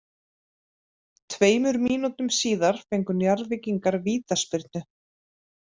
Tveimur mínútum síðar fengu Njarðvíkingar vítaspyrnu.